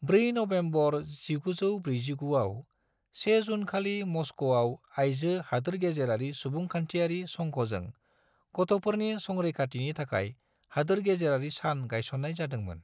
4 नबेम्बर 1949 आव, 1 जून खालि मस्क'आव आइजो हादोरगेजेरारि सुबुंखान्थियारि संघजों गथ'फोरनि संरैखाथिनि थाखाय हादोरगेजेरारि सान गायसननाय जादोंमोन।